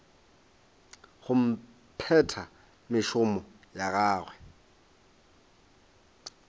go phetha mešomo ya gagwe